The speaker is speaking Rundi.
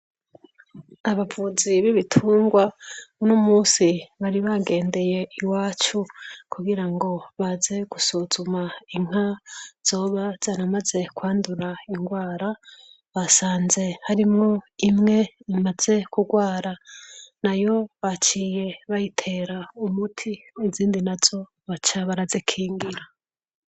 Abavuzi b'ibitungwa, uno munsi bari bagendeye iwacu, kugirango baze gusuzuma inka zoba zaramaze kwandura ingwara. Basanze harimwo imwe imaze kugwara, nayo baciye bayitera umuti izindi nazo baca barazikingira.